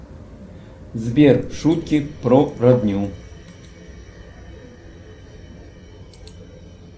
сбер шутки про родню